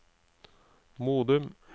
Modum